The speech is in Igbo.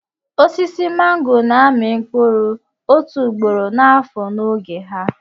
Osisi màngò na-amị mkpụrụ otu ugboro n'afọ n'oge ha